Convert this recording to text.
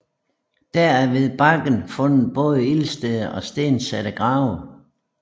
Der er ved bakken fundet både ildsteder og stensatte grave